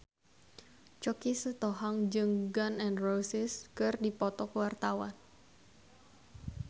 Choky Sitohang jeung Gun N Roses keur dipoto ku wartawan